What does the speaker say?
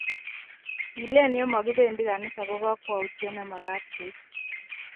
Kilen ye makibendi kanisa ko kakwautiet ne magat koib.